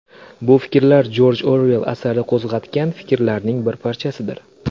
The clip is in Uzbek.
Bu fikrlar Jorj Oruell asari qo‘zg‘atgan fikrlarning bir parchasidir.